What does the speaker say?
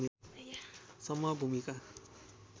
सम्म भूमिका